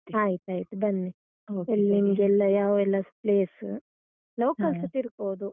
ಆಯ್ತಾಯ್ತು, ಬನ್ನಿ. ಇಲ್ ನಿಮ್ಗೆಲ್ಲ ಯಾವ ಎಲ್ಲ place local ಸ ತಿರುಗ್ಬೋದು ಹೌದು.